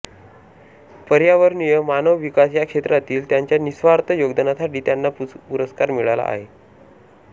पर्यावरणीय मानव विकास या क्षेत्रातील त्यांच्या निस्वार्थ योगदानासाठी त्यांना पुरस्कार मिळाले आहेत